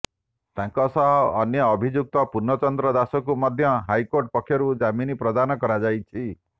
ତାଙ୍କ ସହ ଅନ୍ୟ ଅଭିଯୁକ୍ତ ପୂର୍ଣ୍ଣଚନ୍ଦ୍ର ଦାସଙ୍କୁ ମଧ୍ୟ ହାଇକୋର୍ଟ ପକ୍ଷରୁ ଜାମିନ୍ ପ୍ରଦାନ କରାଯାଇଛି